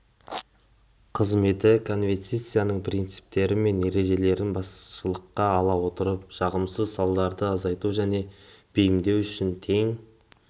қызметі конвенцияның принциптері мен ережелерін басшылыққа ала отырып жағымсыз салдарларды азайту және бейімдеу үшін тең